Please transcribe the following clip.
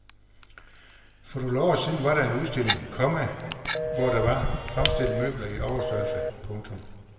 For nogle år siden var der en udstilling, komma hvor der var fremstillet møbler i overstørrelse. punktum